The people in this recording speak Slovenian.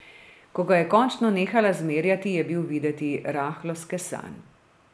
Ko ga je končno nehala zmerjati, je bil videti rahlo skesan.